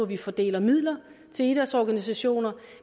vi fordeler midler til idrætsorganisationer